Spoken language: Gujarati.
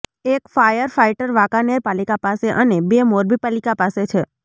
એક ફાયર ફાઈટર વાંકાનેર પાલિકા પાસે અને બે મોરબી પાલિકા પાસે છે